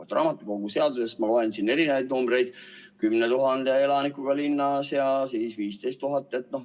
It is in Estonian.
Rahvaraamatukogu seadusest ma loen erinevaid numbreid: kuni 10 000 elanikuga linnas ja 15 000 elaniku kohta.